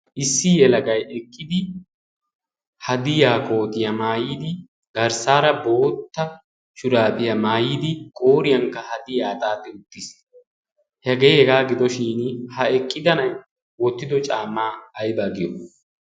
issii halaqai eqqidi hadi yaakootiyaa maayidi garssaara bootta shuraafiyaa maayidi qooriyankka haddi aa xaati uttiis hegee hegaa gidoshin ha eqqidanai oottido caamaa aibaa giyo?